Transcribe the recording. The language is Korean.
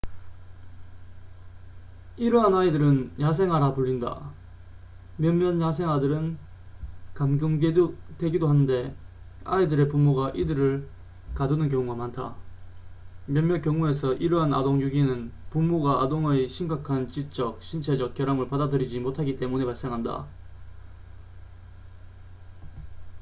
이러한 아이들은 야생아'라 불린다 몇몇 야생아들은 감금되기도 하는데 아이들의 부모가 이들을 가두는 경우가 많다 몇몇 경우에서 이러한 아동 유기는 부모가 아동의 심각한 지적 신체적 결함을 받아들이지 못하기 때문에 발생한다